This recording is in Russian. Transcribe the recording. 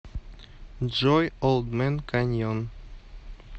джой олд мэн каньон